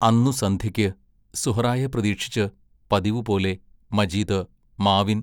അന്നു സന്ധ്യയ്ക്ക് സുഹ്റായെ പ്രതീക്ഷിച്ച് പതിവുപോലെ മജീദ് മാവിൻ